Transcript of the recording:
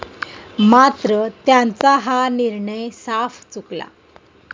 मात्र त्यांचा हा निर्णय साफ चुकला.